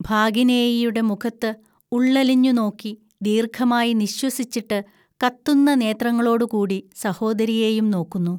ഭാഗിനേയിയുടെ മുഖത്ത് ഉള്ളലിഞ്ഞു നോക്കി ദീർഘമായി നിശ്വസിച്ചിട്ട് കത്തുന്ന നേത്രങ്ങളോടുകൂടി സഹോദരിയേയും നോക്കുന്നു